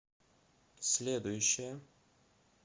следующая